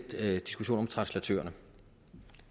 diskussionen om translatørerne